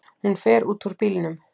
Hún fer út úr bílnum.